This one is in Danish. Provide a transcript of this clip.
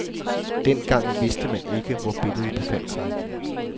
Den gang vidste man ikke, hvor billedet befandt sig.